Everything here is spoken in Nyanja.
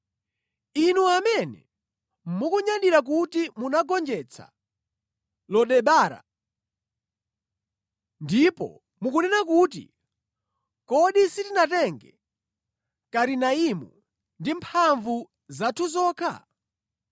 Inu amene mukunyadira kuti munagonjetsa Lo Debara ndipo mukunena kuti, “Kodi sitinatenge Karinaimu ndi mphamvu zathu zokha?”